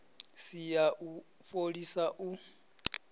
si ya u fholisa u